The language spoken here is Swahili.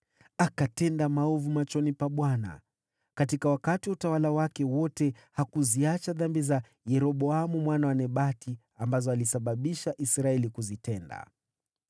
Akatenda maovu machoni pa Bwana . Katika wakati wa utawala wake wote, hakuziacha dhambi za Yeroboamu mwana wa Nebati ambazo alisababisha Israeli kuzitenda.